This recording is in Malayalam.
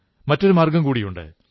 മറ്റൊരു മാർഗ്ഗം കൂടിയുണ്ട്